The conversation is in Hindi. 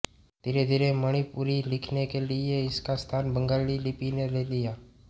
धीरेधीरे मणिपुरी लिखने के लिये इसका स्थान बंगाली लिपि ने ले लिया